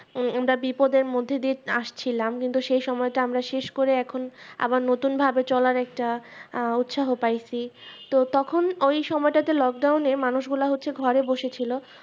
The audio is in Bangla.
আহ আমরা বিপদের মধ্যে দিয়ে আসছিলাম কিন্তু সেই সময়টা শেষকরে এখন আবার নতুন ভাবে চলার একটা আহ উৎসাহ পাই সি তো তখন ওই সময় তাতে Lockdown এ মানুষ গুলা হচ্ছে ঘরে বসে ছিল